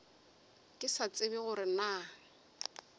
ke sa tsebe gore na